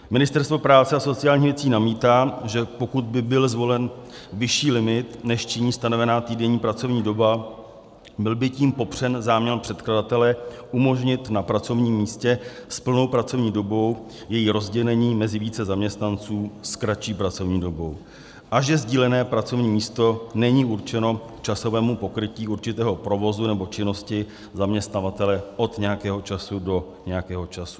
Ministerstvo práce a sociálních věcí namítá, že pokud by byl zvolen vyšší limit, než činí stanovená týdenní pracovní doba, byl by tím popřen záměr předkladatele umožnit na pracovním místě s plnou pracovní dobou její rozdělení mezi více zaměstnanců s kratší pracovní dobou, a že sdílené pracovní místo není určeno k časovému pokrytí určitého provozu nebo činnosti zaměstnavatele od nějakého času do nějakého času.